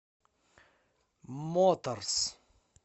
моторс